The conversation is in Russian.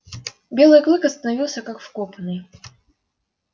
белый клык остановился как вкопанный